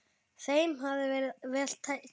Þeim hafi verið vel tekið.